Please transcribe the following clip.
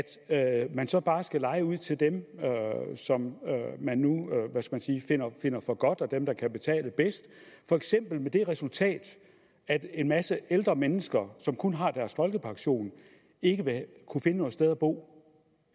at man så bare skal leje ud til dem som man nu finder for godt at og dem der kan betale bedst for eksempel med det resultat at en masse ældre mennesker som kun har deres folkepension ikke vil kunne finde noget sted at bo